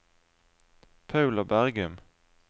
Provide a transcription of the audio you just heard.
Paula Bergum